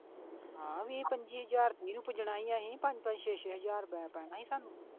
ਹਾਂ ਵੀਹ ਪੰਜੀ ਹਜ਼ਾਰ ਸੀ ਅਸੀਂ ਪੰਜ ਪੰਜ ਛੇ ਛੇ ਹਜ਼ਾਰ ਪੈਣਾ ਸੀ ਸਾਨੂੰ।